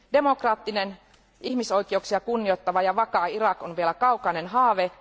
Demokraattinen, ihmisoikeuksia kunnioittava ja vakaa Irak on vielä kaukainen haave.